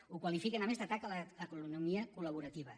ho qualifiquen a més d’atac a l’economia col·laborativa